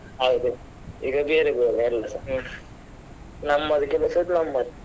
ಹೌದು ಈಗ ಬೇರೆ ಬೇರೆ ನಮ್ಮದು ಕೆಲಸ ನಮ್ಮದು.